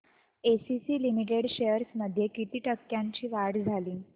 ACC limited shares मध्ये किती टक्क्यांची वाढ झाली